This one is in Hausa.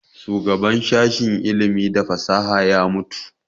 Shugaban sashen ilimi da fasaha ya mutu